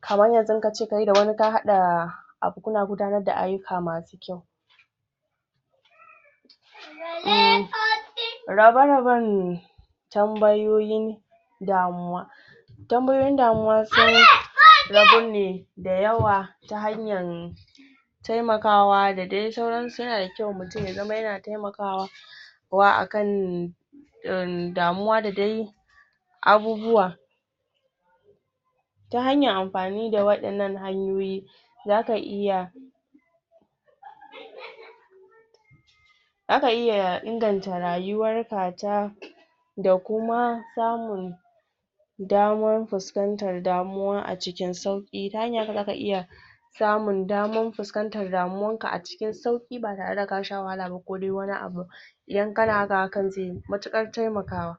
kaman yanzu kace kai da wani ka haɗa abu kuna gudanar da ayyuka masu rabe rabenne tambayoyi damuwa tambayoyin damuwa sun rabu ne da yawa ta hanyan taimakawa da dai sauran su yana da kyau mutum ya zama yana taimakawa wa akan ehnn damuwa da dai abubuwa ta hanyar amfani da wa'innan hanyoyi zaka iya zaka iya inganta rayuwar ka ta da kuma samun daman fuskantar damuwa a cikin sauƙ ta hanyar zaka iyai samun daman fuskanta damuwar ka a cikin sauƙi ba tare da ka sha wahala ba ko dai wani abun idan kana haka hakan zai yi matuƙar taimakawa